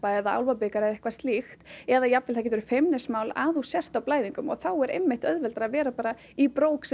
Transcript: eða túrtappa eða eitthvað slíkt eða jafnvel það getur feimnismál að þú sért á blæðingum og þá er einmitt auðveldara að vera bara í brók sem